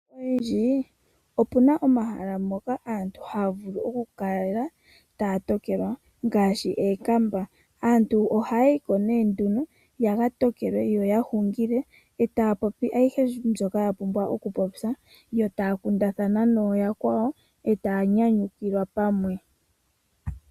Opuna omahala mpoka aantu haya vulu oku tokelwa ngaashi ookamba. Aantu ohaya yi yaka tokelwe yo ya hungile e taya popi ayihe mbyoka yapumbwa okupopya yo taya kundathana nooyakwawo e taya nyanyukilwa pamwe.